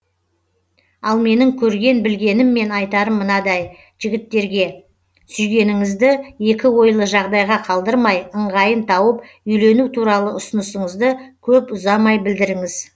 ал менің көрген білгенім мен айтарым мынадай жігіттерге сүйгеніңізді екі ойлы жағдайға қалдырмай ыңғайын тауып үйлену туралы ұсынысыңызды көп ұзамай білдіріңіз